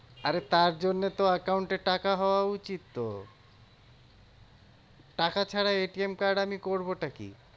আরে তার জন্যে তো account এ টাকা হওয়া উচিত তো। টাকা ছাড়া card আমি করবো টা কি?